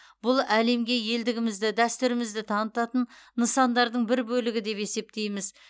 бұл әлемге елдігімізді дәстүрімізді танытатын нысандардың бір бөлігі деп есептейміз